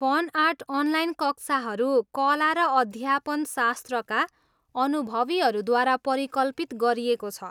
Fun art online कक्षाहरू कला र अध्यापनशास्त्रका अनुभवीहरूद्वारा परिकल्पित गरिएको छ।